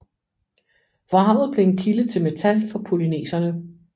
Vraget blev en kilde til metal for polyneserne